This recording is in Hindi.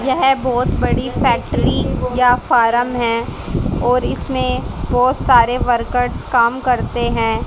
यह बहुत बड़ी फैक्ट्री या फॉर्म है और इसमें बहुत सारे वर्कर्स काम करते हैं।